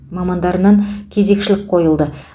мамандарынан кезекшілік қойылды